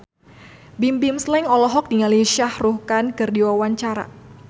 Bimbim Slank olohok ningali Shah Rukh Khan keur diwawancara